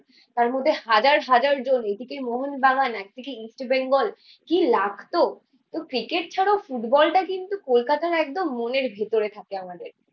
তারমধ্যে হাজার হাজার জন, একদিকে মোহনবাগান একদিকে ইস্ট বেঙ্গল। কি লাগতো। ক্রিকেট ছাড়াও ফুটবলটা কিন্তু কলকাতার একদম মনের ভেতরে থাকে আমাদের